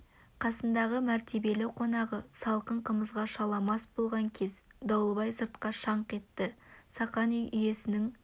қасындағы мәртебелі қонағы салқын қымызға шала мас болған кез дауылбай сыртқа шаңқ етті сақан үй иесінің